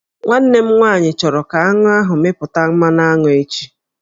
Nwanne m nwaanyị chọrọ ka aṅụ ahụ mịpụta mmanụ aṅụ echi